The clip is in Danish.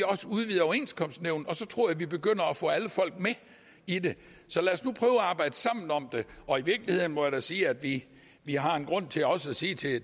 også udvide overenskomstnævnet og så tror jeg vi begynder at få alle folk med i det så lad os nu prøve at arbejde sammen om det og i virkeligheden må jeg da sige at vi har en grund til også at sige til